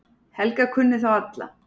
Helga kunni þá alla.